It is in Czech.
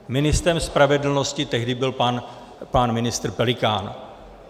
Ministrem spravedlnosti tehdy byl pan ministr Pelikán.